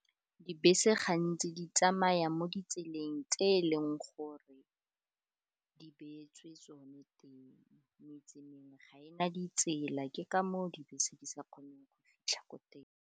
Dibese gantsi di tsamaya mo ditseleng tse e leng gore di beetswe tsone teng, meetse mengwe ga ena ditsela ke ka moo dibese di sa kgoneng go fitlha ko teng.